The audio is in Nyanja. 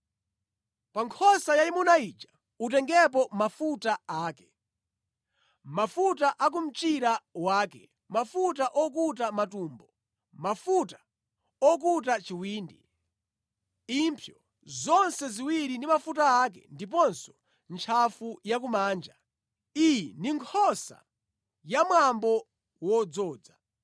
“Pa nkhosa yayimuna ija utengepo mafuta ake, mafuta a ku mchira wake, mafuta okuta matumbo, mafuta okuta chiwindi, impsyo zonse ziwiri ndi mafuta ake, ndiponso ntchafu yakumanja. Iyi ndi nkhosa ya mwambo wodzoza.